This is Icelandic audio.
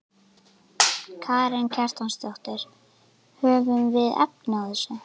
Karen Kjartansdóttir: Höfum við efni á þessu?